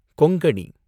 Konkani